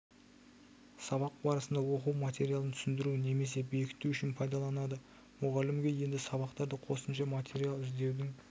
сабақ барысында оқу материалын түсіндіру немесе бекіту үшін пайдаланады мұғалімге енді сабақтарға қосымша материал іздеудің